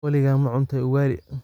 Waligaa ma cuntay ugali?